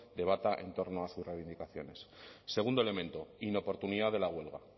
debata en torno a sus reivindicaciones segundo elemento inoportunidad de la huelga